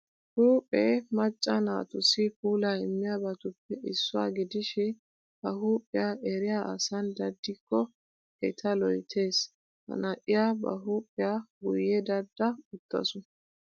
Huphphee macca naatussi puulaa immiyabatuppe issuwa gidishin ha huuphiya eriya asan daddikko eta loyttees. Ha na'iya ba huuphiya guyye dadda uttaasu